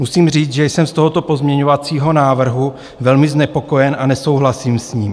Musím říct, že jsem z tohoto pozměňovacího návrhu velmi znepokojen a nesouhlasím s ním.